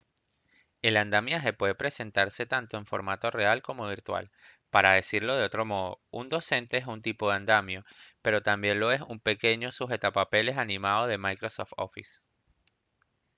el andamiaje puede presentarse tanto en formato real como virtual para decirlo de otro modo un docente es un tipo de andamio pero también lo es el pequeño sujetapapeles animado de microsoft office